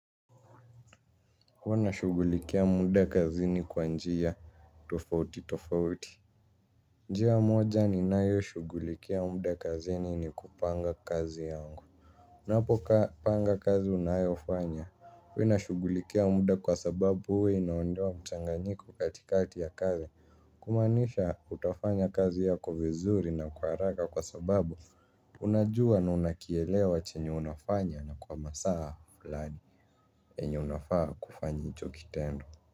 Huwa nashughulikia muda kazini kwa njia tofauti tofauti. Njia moja ninayoshughulikia muda kazini ni kupanga kazi yangu. Unapopanga kazi unayofanya huwa inashughulikia muda kwa sababu huwa inaondoa mchanganyiko katikati ya kazi. Kumaanisha utafanya kazi yako vizuri na kwa haraka kwa sababu unajua na unakielewa chenye unafanya na kwa masaa fulani. Enye unafaa kufanya hicho kitendo.